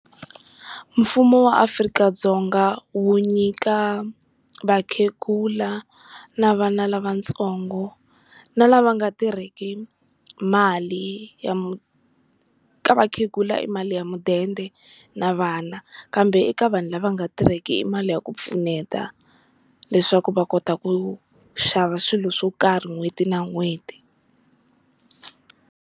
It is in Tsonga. Mfumo wa Afrika-Dzonga wu nyika vakhegula na vana lavatsongo na lava nga tirheki mali ya, ka vakhegula i mali ya mudende na vana kambe eka vanhu lava nga tirheki i mali ya ku pfuneta, leswaku va kota ku xava swilo swo karhi n'hweti na n'hweti.